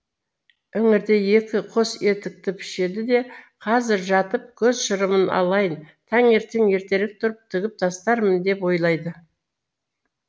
іңірде екі қос етікті пішеді де қазір жатып көз шырымын алайын таңертең ертерек тұрып тігіп тастармын деп ойлайды